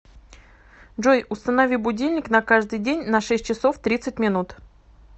джой установи будильник на каждый день на шесть часов тридцать минут